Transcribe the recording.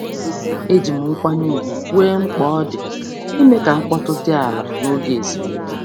Eji m nkwanye ùgwù kwuo mkpa ọ dị ime ka mkpọtụ dị ala n'oge ezumike.